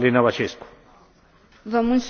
Vă mulțumesc, domnule președinte.